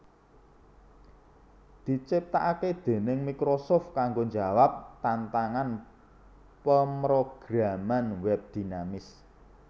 diciptakake déning Microsoft kanggo njawab tantangan pemrograman web dinamis